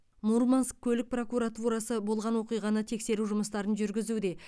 мурманск көлік прокуратурасы болған оқиғаны тексеру жұмыстарын жүргізуде